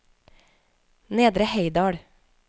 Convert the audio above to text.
Nedre Heidal